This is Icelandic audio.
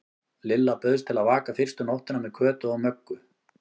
Lilla bauðst til að vaka fyrstu nóttina með Kötu og Möggu.